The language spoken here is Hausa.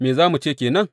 Me za mu ce ke nan?